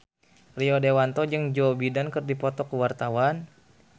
Rio Dewanto jeung Joe Biden keur dipoto ku wartawan